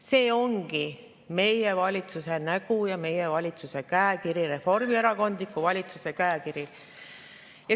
See ongi meie valitsuse nägu ja meie valitsuse käekiri, reformierakondliku valitsuse käekiri.